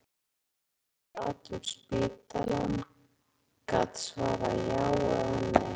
Ég þurfti hjálp til að ganga og rata um spítalann, gat svarað já eða nei.